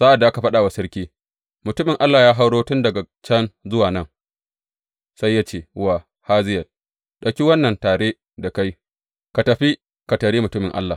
Sa’ad da aka faɗa wa sarki, Mutumin Allah ya hauro tun daga can zuwa nan, sai ya ce wa Hazayel, Ɗauki wannan tare da kai ka tafi ka taryi mutumin Allah.